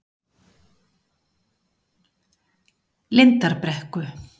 Lindarbrekku